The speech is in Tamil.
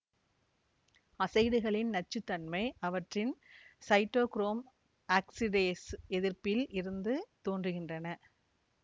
அசைடுகளின் நச்சு தன்மை அவற்றின் சைட்டோகுரோம் ஆக்சிடேசு எதிர்ப்பில் இருந்து தோன்றுகின்றன